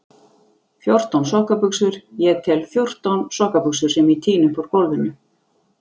Fjórtán sokkabuxur, ég tel fjórtán sokkabuxur sem ég tíni upp úr gólfinu.